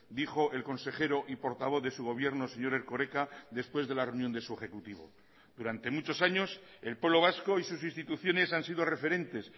dijo el consejero y portavoz de su gobierno señor erkoreka después de la reunión de su ejecutivo durante muchos años el pueblo vasco y sus instituciones han sido referentes